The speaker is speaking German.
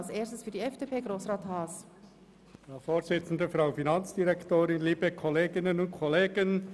Zuerst hat Grossrat Haas für die FDP-Fraktion das Wort.